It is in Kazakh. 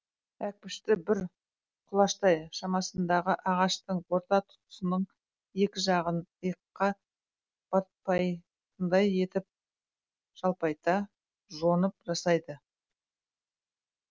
әкпішті бір құлаштай шамасындағы ағаштың орта тұсының екі жағын иыққа батпайтындай етіп жалпайта жонып жасайды